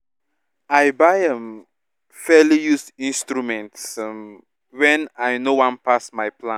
i buy um fairly used instruments um wen i no wan pass my plan